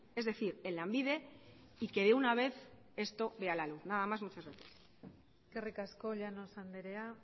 es decir en lanbide y que de una vez esto vea la luz nada más muchas gracias eskerrik asko llanos anderea